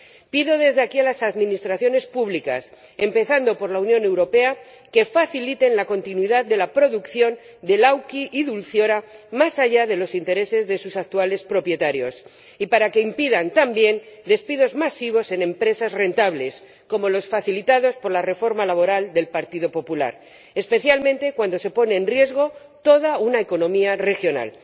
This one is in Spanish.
Pido desde aquí a las administraciones públicas, empezando por la Unión Europea, que faciliten la continuidad de la producción de Lauki y Dulciora más allá de los intereses de sus actuales propietarios, y para que impidan también despidos masivos en empresas rentables como los facilitados por la reforma laboral del Partido Popular, especialmente cuando se pone en riesgo toda una economía regional.